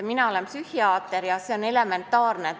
Mina olen psühhiaater ja meie töös on see elementaarne.